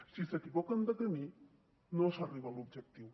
si s’equivoquen de camí no s’arriba a l’objectiu